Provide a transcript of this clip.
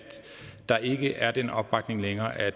der ikke er den opbakning længere og at